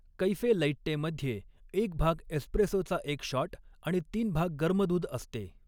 Cafe latte मध्ये एक भाग एस्प्रेसोचा एक शॉट आणि तीन भाग गर्म दूध असते.